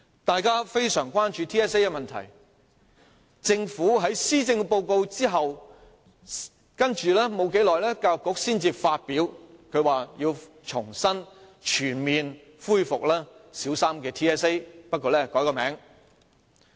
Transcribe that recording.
大家非常關注 TSA 的問題，政府在發表施政報告後，教育局才公布要重新全面恢復小三 TSA， 不過會更改其名稱。